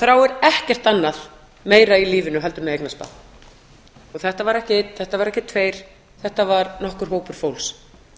þráir ekkert annað meira í lífinu heldur en að eignast barn þetta var ekki einn þetta voru ekki tveir þetta var nokkur hópur fólks